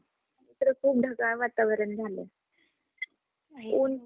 इकडं खूप ढगाळ वातावरण झालं. ऊन